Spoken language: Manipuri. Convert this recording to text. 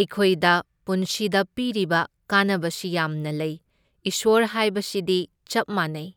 ꯑꯩꯈꯣꯏꯗ ꯄꯨꯟꯁꯤꯗ ꯄꯤꯔꯤꯕ ꯀꯥꯟꯅꯕꯁꯤ ꯌꯥꯝꯅ ꯂꯩ, ꯏꯁ꯭ꯋꯔ ꯍꯥꯏꯕꯁꯤꯗꯤ ꯆꯞ ꯃꯥꯟꯅꯩ꯫